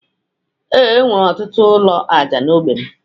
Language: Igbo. Ee, e nwere ọtụtụ ụlọ aja na n'ogbe m.